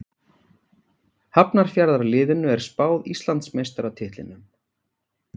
Hafnarfjarðarliðinu er spáð Íslandsmeistaratitlinum.